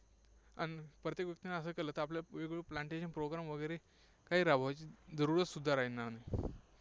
अन् प्रत्येक व्यक्तीने असं केलं तर आपल्याला वेगवेगळे plantation program वगैरे काही राबवायची जरुरत सुद्धा राहणार नाही.